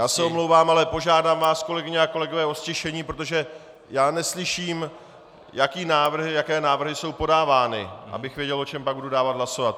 Já se omlouvám, ale požádám vás, kolegyně a kolegové, o ztišení, protože já neslyším, jaké návrhy jsou podávány, abych věděl, o čem pak budu dávat hlasovat.